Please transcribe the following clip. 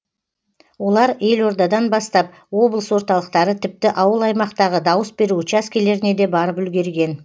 олар елордадан бастап облыс орталықтары тіпті ауыл аймақтағы дауыс беру учаскелеріне де барып үлгерген